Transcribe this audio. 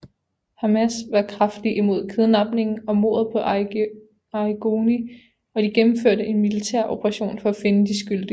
Hamas var kraftigt imod kidnappingen og mordet på Arrigoni og de gennemførte en militær operation for at finde de skyldige